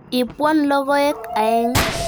Ipwon logoek aeng'.